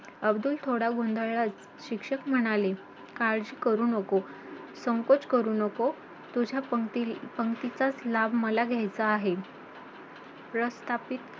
अब्दुल थोडा गोंधळला, शिक्षक म्हणाले काळजी करू नको, संकोच करू नको तुझ्या पंक्तीचा लाभ मला घ्यायचा आहे.